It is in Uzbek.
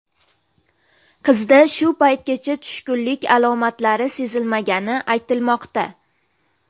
Qizda shu paytgacha tushkunlik alomatlari sezilmagani aytilmoqda.